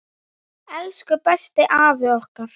Elsku besti afi okkar!